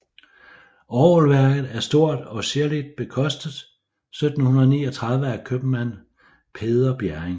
Orgelværket er stort og ziirligt bekostet 1739 af købmand Peder Bjerring